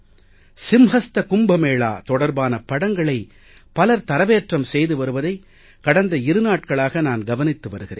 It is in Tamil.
சிம்ஹஸ்த கும்ப மேளா தொடர்பான படங்களை பலர் தரவேற்றம் செய்து வருவதை கடந்த இரு நாட்களாக நான் கவனித்து வருகிறேன்